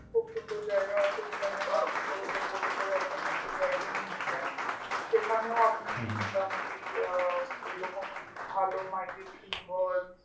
খুব সুন্দর জায়গা আছে যেখানে launch এ করে বা boat এ করে আপনাকে একটা drive এ নিয়ে যায় সেখানেও আপনি মোটামুটি আহ এরকম ভালো